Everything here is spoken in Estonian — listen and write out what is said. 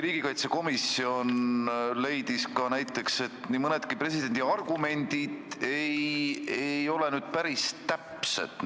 Riigikaitsekomisjon leidis näiteks, et nii mõnedki presidendi argumendid ei ole päris täpsed.